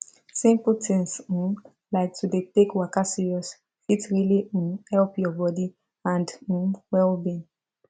simple things um like to dey take waka serious fit really um help your body and um wellbeing